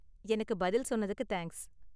எனக்கு பதில் சொன்னதுக்கு தேங்க்ஸ்.